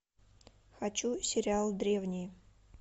хочу сериал древние